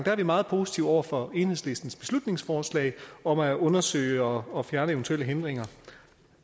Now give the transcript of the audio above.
er vi meget positive over for enhedslistens beslutningsforslag om at undersøge og fjerne eventuelle hindringer